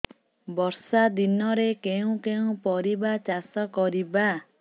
ବର୍ଷା ଦିନରେ କେଉଁ କେଉଁ ପରିବା ଚାଷ କରିବା